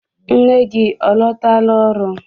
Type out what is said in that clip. Nne gị ọ lọtala ọrụ?